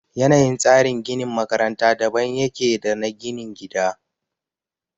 Yanayin tsarin ginin makaranta daban ya ke da na ginin gida